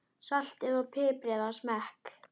Saltið og piprið að smekk.